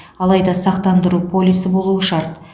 алайда сақтандыру полисі болуы шарт